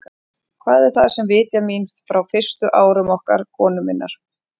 Hvað er það, sem vitjar mín frá fyrstu árum okkar konu minnar?